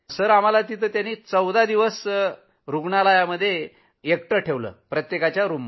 sir आम्ही 14 दिवस रूग्णालयात तिथं एकटे रहात होतो